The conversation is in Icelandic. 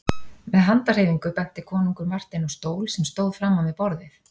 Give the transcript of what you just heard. Með handarhreyfingu benti konungur Marteini á stól sem stóð framan við borðið.